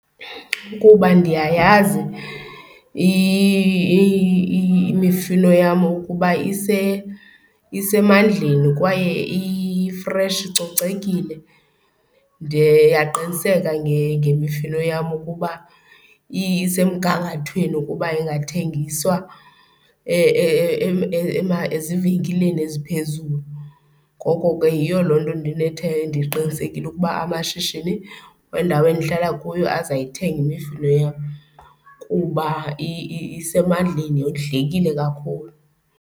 Kuba ndiyayazi imifino yam ukuba isemandleni kwaye i-fresh, icocekile. Ndiyaqiniseka ngemifino yam ukuba isemgangathweni ukuba ingathengiswa ezivenkileni eziphezulu. Ngoko ke yiyo loo nto ndiqinisekile ukuba amashishini wendawo endihlala kuyo azayithenga imifuno yam kuba isemandleni yondlekile kakhulu.